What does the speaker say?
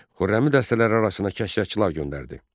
Xürrəmi dəstələri arasına kəşrəşçılar göndərdi.